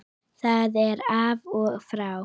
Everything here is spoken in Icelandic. Það er af og frá.